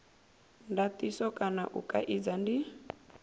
ndatiso kana u kaidza ndi